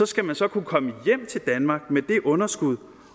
skal man så kunne komme hjem til danmark med det underskud